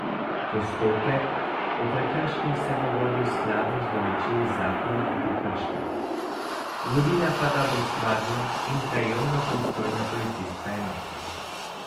Postopek o prekrških se bo vodil skladno z določili Zakona o prekrških, vodila pa ga bo stvarno in krajevno pristojna policijska enota.